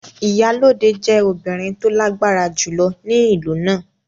Iyalode jẹ́ obìnrin tó lágbára jùlọ ní ìlú náà.